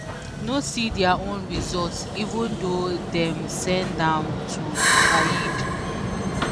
no see dia own results - even though dem send am to fayed.